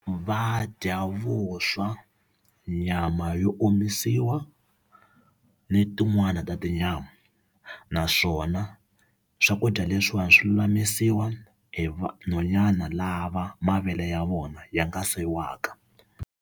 Va dya vuswa nyama yo omisiwa ni tin'wani ta tinyama naswona swakudya leswiwani swi lulamisiwa hi vanhwanyana lava mavele ya vona ya nga se waka.